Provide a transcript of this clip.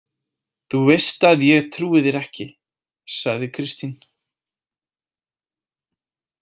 Þú veist að ég trúi þér ekki, sagði Kristín.